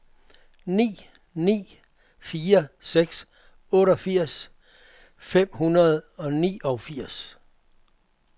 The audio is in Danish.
ni ni fire seks otteogfirs fem hundrede og niogfirs